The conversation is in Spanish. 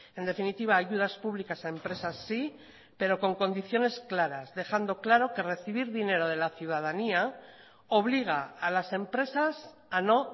en definitiva ayudas públicas a empresas sí pero con condiciones claras dejando claro que recibir dinero de la ciudadanía obliga a las empresas a no